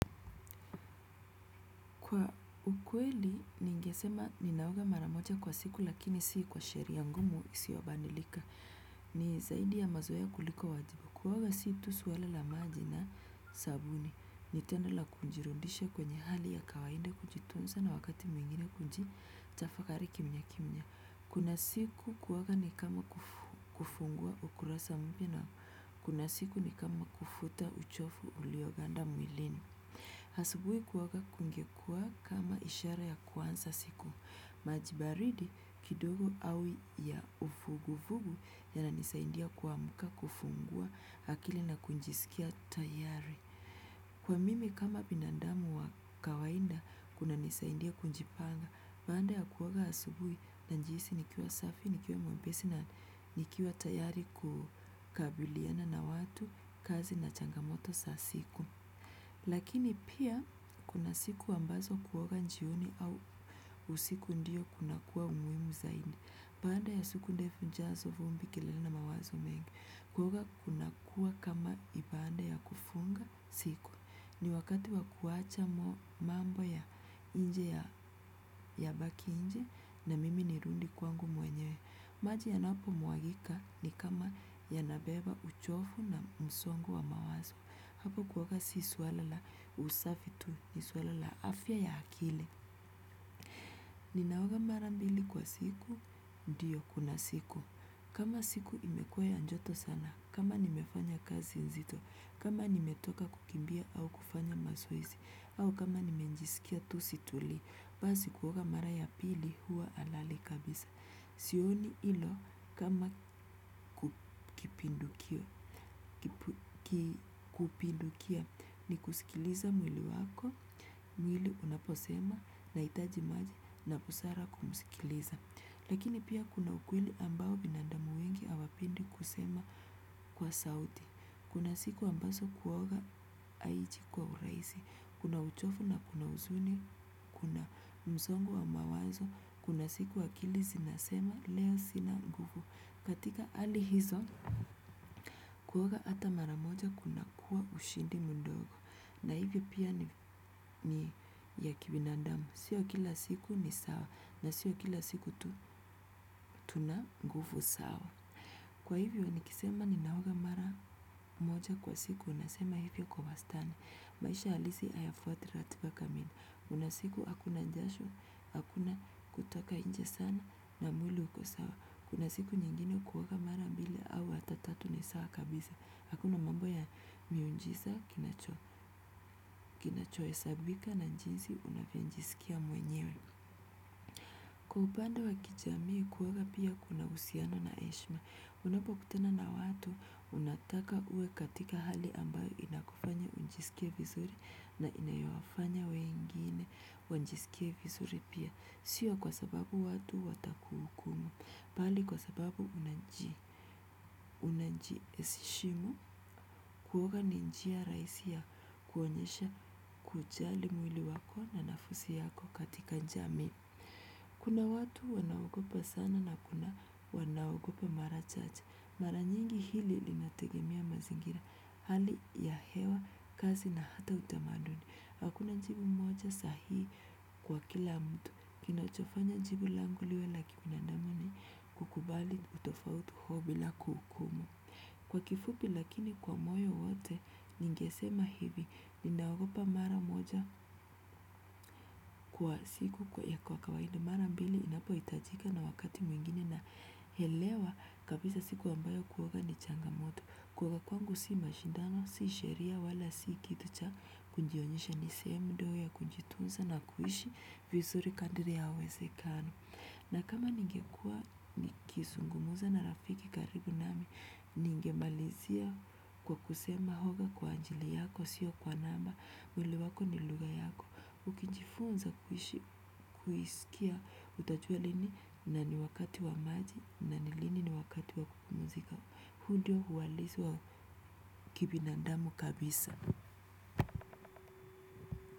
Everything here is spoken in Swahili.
Kwa ukweli, ningesema ninaoga maramoja kwa siku lakini sii kwa sheria ngumu isiwo bandilika. Ni zaidi ya mazoeya kuliko wajibu. Kuwoga sii tu suwala la maji na sabuni. Nitendo la kunjirundisha kwenye hali ya kawainda kujitunza na wakati mwingine kunji tafakari kimya kimya. Kuna siku kuwoga ni kama kufungua ukurasa mpia na kuna siku ni kama kufuta uchofu ulioganda mwilini. Hasubui kuwoga kungekua kama ishara ya kuansa siku. Majibaridi kidogo au ya ufugufugu yananisaindia kuamuka kufungua hakili na kunjisikia tayari. Kwa mimi kama binandamu wa kawainda kunanisaindia kunjipanga, banda ya kuwoga hasubui na njiisi nikiwa safi, nikiwa muembesi na nikiwa tayari kukabiliana na watu kazi na changamoto sasiku. Lakini pia kuna siku ambazo kuoga njioni au usiku ndiyo kuna kuwa umuimu zaidi. Baada ya siku ndefu jasho vumbi kelele na mawazo mengi. Kuoga kunakuwa kama ibada ya kufunga siku. Ni wakati wa kuacha mambo ya nje yabaki nje na mimi nirudi kwangu mwenyewe. Maji yanapo mwagika ni kama yanabeba uchofu na msong wa mawazo. Hapo kuoga si suala usafi tu ni suala la afya ya akili. Ninaoga mara mbili kwa siku, ndiyo kila siku. Kama siku imekuwa ya joto sana, kama nimefanya kazi nzito, kama nimetoka kukimbia au kufanya mazoezi, au kama nimejisikia tu situlii, basi kuoga mara ya pili huwa halali kabisa. Sioni hilo kama kupindukia kusikiliza mwili wako, mwili unaposema nahitaji maji na busara kumsikiliza. Lakini pia kuna ukweli ambao binandamu wengi hawapendi kusema kwa sauti. Kuna siku ambazo kuoga haiji kwa urahisi. Kuna uchofu na kuna huzuni kuna msongo wa mawazo kuna siku akili zinasema leo sina nguvu. Katika hali hizo kuoga hata mara moja kunakuwa ushindi mdogo. Na hivyo pia ni ya kibinadamu. Sio kila siku ni sawa na sio kila siku tu tuna nguvu sawa. Kwa hivyo nikisema ninaoga mara moja kwa siku nasema hivyo kwa wastani. Maisha halisi hayafuati ratiba kamili kuna siku hakuna jasho, hakuna kutoka nje sana na mwili uko sawa. Kuna siku nyingine kuoga mara mbili au hata tatu ni sawa kabisa. Hakuna mambo ya miujiza kinacho nacho hesabika na jinsi unavyojisikia mwenyewe. Kwa upande wa kijamii kuoga pia kuna husian na hieshma, unapokutana na watu, unataka uwe katika hali ambayo inakufanya ujisikie vizuri na inayo wafanya wengine wajisikie vizuri pia, sio kwa sababu watu watakuhukumu, bali kwa sababu unajiheshimu kuoga ni njia rahisi ya kuonyesha kujali mwili wako na nafasi yako katika jamii. Kuna watu wanaogopa sana na kuna wanao ogopa mara chache. Mara nyingi hili linategemea mazingira. Hali ya hewa, kazi na hata utamaduni. Hakuna jibu moja sahihi kwa kila mtu. Kinachofanya jibu langu liwe la kibinadamu ni kukubali utofauti huo bila kuhukumu. Kwa kifupi lakini kwa moyo wote ningesema hivi. Ni naogopa mara moja kwa siku ya kwa kawaida. Mara mbili inapohitajika na wakati mwingine naelewa kabisa siku ambayo kuoga ni changamoto. Kuoga kwangu si mashindano, si sheria, wala si kitu cha kujionyesha ni sehemu ndogo ya kujitunza na kuishi vizuri kadiri ya uwezekano. Na kama ningekuwa nikizungumza na rafiki karibu nami ningemalizia kwa kusema oga kwa ajili yako sio kwa namba. Mwili wako ni lugha yako, ukijifunza kuisikia, utajua lini na ni wakati wa maji na ni lini ni wakati wa kupumzika. Huu ndio uhalisi wa kibinadamu kabisa.